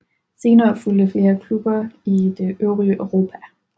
Senere fulgte flere klubber i det øvrige Europa